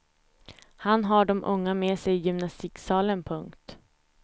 Han har de unga med sig i gymnastiksalen. punkt